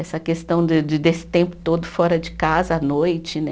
Essa questão de de desse tempo todo fora de casa, à noite, né?